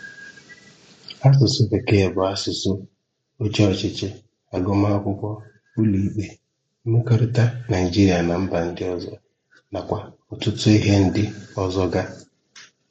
Asụ̀sụ́ Békee bụ́ asụ̀sụ́ òchè ọ̀chịchị, àgụ́màkụ̀kwọ́, ụ̀lọ̀ìkpé, mmekọ̀rịtà Naịjíríà na mba ndị ọzọ, nakwá ọ̀tụ̀tụ̀ íhè ndị ọzọ gā.